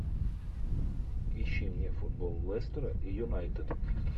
ищи мне футбол лестера и юнайтед